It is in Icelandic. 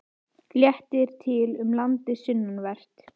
Léttir til um landið sunnanvert